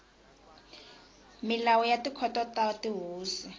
milawu ya tikhoto ta tihosi